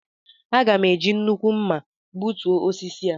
Aga m eji nnukwu mma gbutuo osisi a